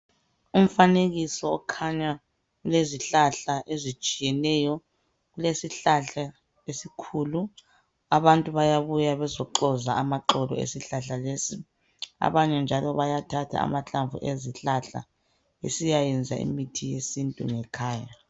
Umfanekiso okhanya ulezihlahla ezitshiyeneyo kulesihlahla esikhulu abantu bayabuya bezoxoza amaxolo esihlahla lesi abanye njalo bayathatha amahlamvu ezihlahla besiyayenza imithi yesintu ngekhaya